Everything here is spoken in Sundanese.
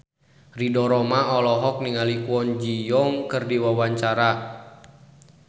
Ridho Roma olohok ningali Kwon Ji Yong keur diwawancara